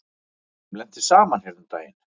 Þeim lenti saman hérna um daginn.